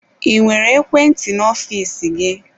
I nwere ekwe ntị n'ofiisi gị?